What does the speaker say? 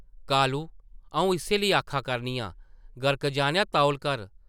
कालू अऊं इस्सै लेई आखा करनी आं, गर्क-जानेआ तौल कर ।